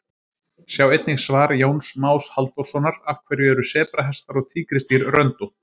Sjá einnig svar Jóns Más Halldórssonar Af hverju eru sebrahestar og tígrisdýr röndótt?